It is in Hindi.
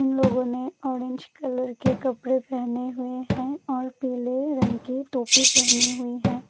लोगों ने ऑरेंज कलर के कपड़े पहने हुए हैं और पीले रंग के टोपी पहने हुए हैं।